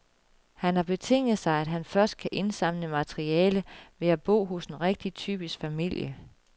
Han har betinget sig, at han først kan indsamle materiale ved at bo hos en rigtig typisk familie.